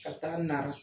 Ka taa nara